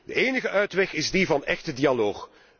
De enige uitweg is die van echte dialoog.